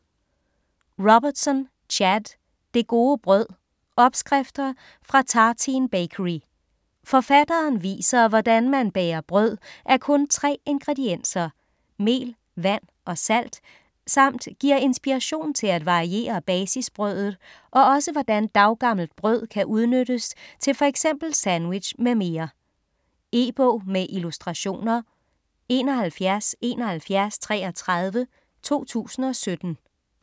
Robertson, Chad: Det gode brød: opskrifter fra Tartine Bakery Forfatteren viser hvordan man bager brød af kun tre ingredienser: mel, vand og salt samt giver inspiration til at variere basisbrødet og også hvordan daggammelt brød kan udnyttes til f.eks. sandwich m.m. E-bog med illustrationer 717133 2017.